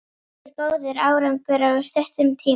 Það er góður árangur á stuttum tíma.